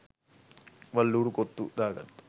වල් ඌරු කොත්තු දාගත්ත